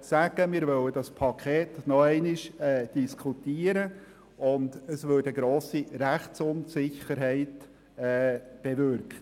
sagen würden, wir wollen das Paket noch einmal diskutieren, und es würde eine grosse Rechtsunsicherheit bewirken.